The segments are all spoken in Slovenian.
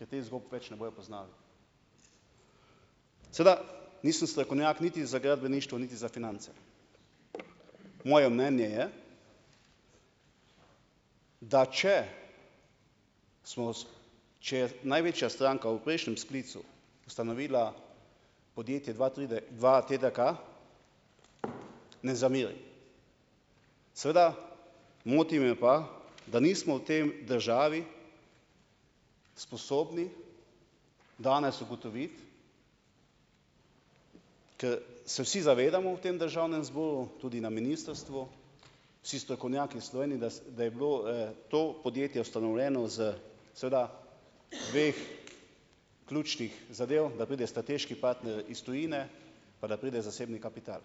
Ter teh zgodb več ne bojo poznali. Seveda, nisem strokovnjak niti za gradbeništvo niti za finance. Moje mnenje je, da če smo če je največja stranka v prejšnjem sklicu ustanovila podjetje dva tri dvaTDK, ne zamerim. Seveda, moti me pa, da nismo v tem državi sposobni danes ugotoviti, ko se vsi zavedamo v tem Državnem zboru, tudi na ministrstvu, vsi strokovnjaki v Sloveniji, da da je bilo to podjetje ustanovljeno s seveda dveh ključnih zadev, da pride strateški partner iz tujine, pa da pride zasebni kapital.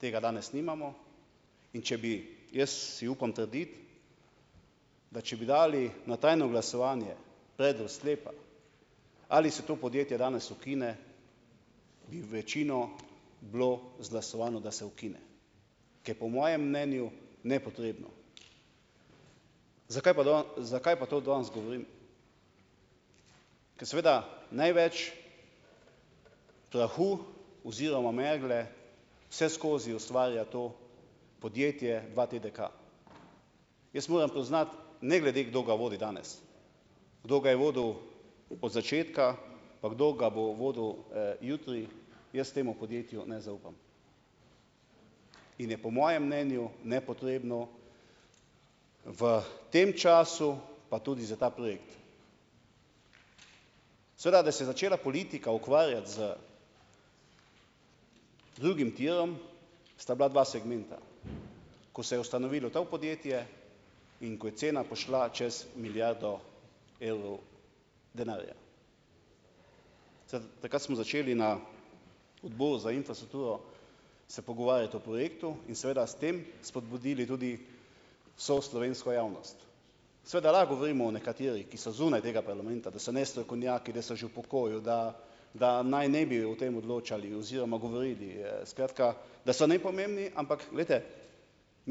Tega danes nimamo. In, če bi, jaz si upam trditi, da če bi dali na tajno glasovanje predlog sklepa, ali se to podjetje danes ukine, bi večino bilo izglasovano, da se ukine. Ker po mojem mnenju nepotrebno. Zakaj pa zakaj pa to danes govorim? Ker seveda največ prahu oziroma megle vse skozi ustvarja to podjetje dvaTDK. Jaz moram priznati, ne glede, kdo ga vodi danes. Kdo ga je vodil od začetka pa kdo ga bo vodil jutri, jaz temu podjetju ne zaupam. In je po mojem mnenju nepotrebno v tem času, pa tudi za ta projekt. Seveda, da se je začela politika ukvarjati z drugim tirom, sta bila dva segmenta. Ko se je ustanovilo to podjetje in ko je cena pošla čas milijardo evrov denarja. takrat smo začeli na Odboru za infrastrukturo se pogovarjati o projektu in seveda s tem spodbudili tudi vso slovensko javnost. Seveda lahko govorimo o nekaterih, ki so zunaj tega parlamenta, da so nestrokovnjaki, da so že v pokoju, da, da naj ne bi o tem odločali oziroma govorili, skratka, da so nepomembni, ampak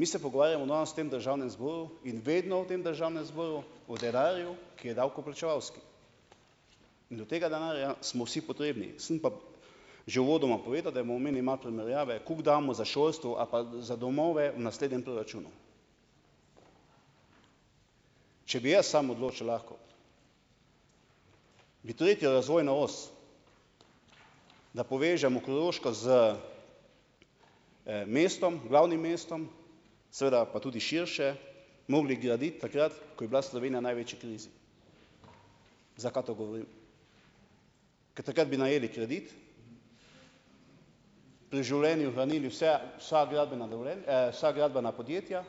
poglejte, mi se pogovarjamo danes v tem Državnem zboru in vedno v tem Državnem zboru o denarju , ki je davkoplačevalski. In do tega denarja smo vsi potrebni. Sem pa že uvodoma povedal, da bomo imeli malo primerjave, koliko damo za šolstvo ali pa za domove v naslednjem proračunu. Če bi jaz sam odločil lahko, bi tretjo razvojno os, da povežemo Koroško z mestom, glavnim mestom, seveda pa tudi širše, morali graditi takrat, ko je bila Slovenija največji največji krizi. Zakaj to govorim? Ker takrat bi najeli kredit, v življenju vrnili vse, vsa gradbena vsa gradbena podjetja,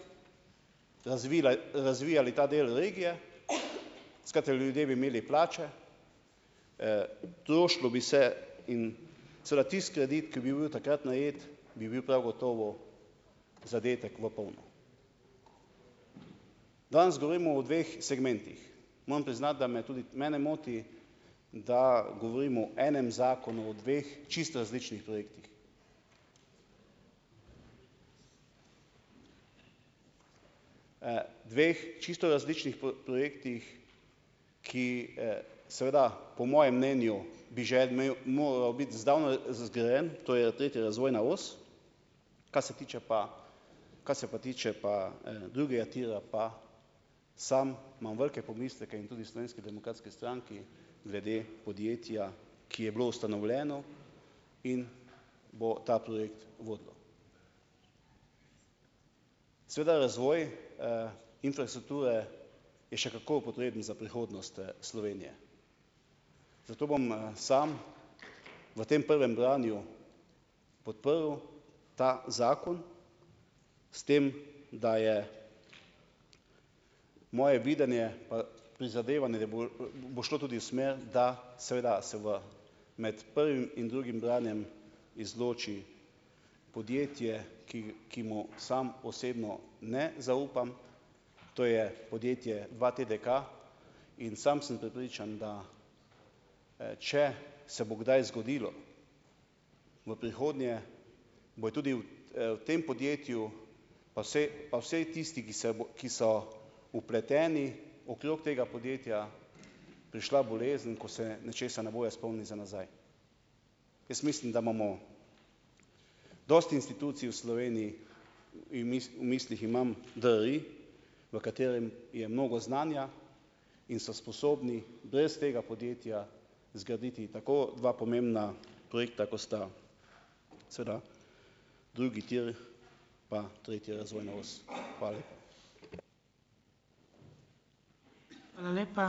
razvijali ta del regije, skratka, ljudje bi imeli plače, trošilo bi se, in seveda tisti kredit, ki bi bil takrat najet, bi bil prav gotovo zadetek v polno. Danes govorimo o dveh segmentih. Moram priznati, da me tudi mene moti, da govorimo o enem zakonu , o dveh čisto različnih projektih. dveh čisto različnih projektih, ki seveda, po mojem mnenju, bi že en moral biti zdavnaj zgrajen, to je tretja razvojna os, kar se tiče pa, kar se pa tiče pa drugega tira, pa sam imam velike pomisleke in tudi Slovenski demokratski stranki glede podjetja, ki je bilo ustanovljeno in bo ta projekt vodilo. Seveda razvoj infrastrukture bi še kako potreben za prihodnost Slovenije. Zato bom samo v tem prvem branju podprl ta zakon, s tem da je moje videnje pa prizadevanje, da bo bo šlo tudi v smer, da seveda se v, med prvim in drugim branjem izloči podjetje, ki, ki mu sam osebno ne zaupam, to je podjetje dvaTDK. In sam sem prepričan, da če se bo kdaj zgodilo v prihodnje, bojo tudi v, v tem podjetju pa vsej, pa vsi tisti, ki se ki so vpleteni okrog tega podjetja, prišla bolezen, ko se nečesa ne bojo spomnili za nazaj. Jaz mislim, da imamo dosti institucij v Sloveniji, in v mislih imam DRI, v katerem je mnogo znanja, in so sposobni brez tega podjetja zgraditi tako dva pomembna projekta, kot sta, seveda, drugi tir pa tretja razvojna os. Hvala . Hvala lepa.